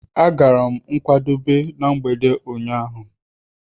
Agara m nkwadebe na mgbede ụnyaahụ.